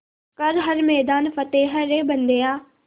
कर हर मैदान फ़तेह रे बंदेया